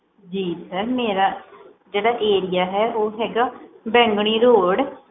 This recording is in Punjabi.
ਜੀ sir ਮੇਰਾ ਜਿਹੜਾ area ਹੈ ਉਹ ਹੈਗਾ ਬੈਂਗਣੀ road